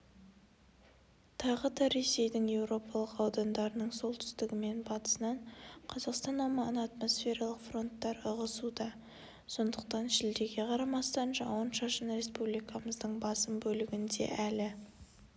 тағы да ресейдің европалық аудандарының солтүстігі мен батысынан қазақстан аумағына атмосфералық фронттар ығысуда сондықтан шілдеге қарамастан жауын-шашын республикамыздың басым бөлігінде әлі